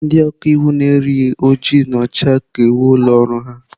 Ndị ọka iwu na-eyi oji na ọcha ka uwe ụlọ ọrụ ha.